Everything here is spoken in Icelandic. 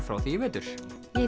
frá því í vetur ég